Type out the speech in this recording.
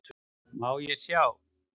Má sjá